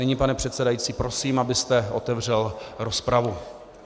Nyní pane předsedající prosím, abyste otevřel rozpravu.